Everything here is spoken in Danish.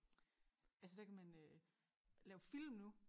Altså der kan man øh lave film nu